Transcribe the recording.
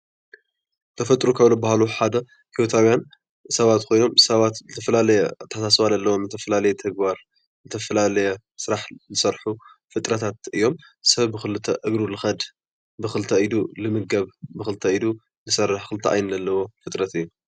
ተፈጥሮ ካብ ዝበሃሉ ሓደ ሂወታውያን ሰባት ኮይኖም ፤ ሰባት ዝተፈላለየ አትሓሳስባ ዘለዎም ዝተፈላለየ ተግባር ፣ ዝተፈላለየ ስራሕ ዝሰርሑ ፍጥረታት እዮም። ሰብ ብኽልተ እግሩ ልኸድ፣ ብኽልተ ኢዱ ልምገብ፣ ብኽልተ ኢዱ ዝሰርሕ ክልተ ዓይኒ ዘለዎ ፍጥረት እዩ።